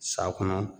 Sa kɔnɔ